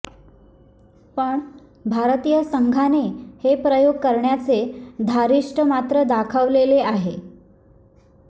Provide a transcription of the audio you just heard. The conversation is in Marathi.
पण भारतीय संघाने हे प्रयोग करण्याचे धारीष्ठ मात्र दाखवलेले आहे